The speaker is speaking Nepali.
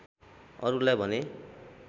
अरुलाई भने